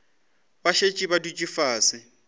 ba šetše ba dutše fase